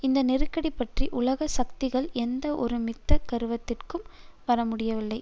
இந்த நெருக்கடி பற்றி உலக சக்திகள் எந்த ஒருமித்த கருத்திற்கும் வரமுடியவில்லை